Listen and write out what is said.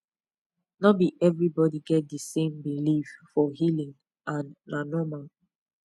no be everybody get the same belief for healing and na normal